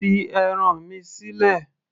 fi ẹran mi sílẹ̀